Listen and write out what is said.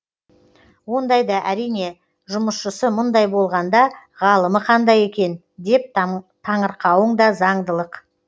ондайда әрине жұмысшысы мұндай болғанда ғалымы қандай екен деп таңырқауың да заңдылық